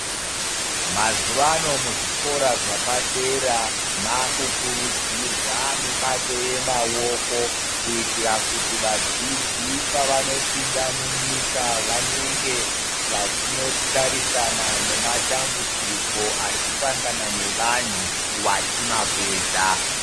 Mazuvano muzvikora zvapadera makukurudzirwa mbato yemaoko kuitira kuti vadzidzi pavanopinda munyika vanenge vachinotarisana nematambudziko arikusangana nevanhu vachimapedza.